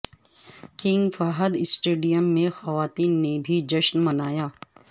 king Fahd stadium میں خواتین نے بھی جشن منایا